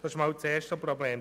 Das ist das erste Problem.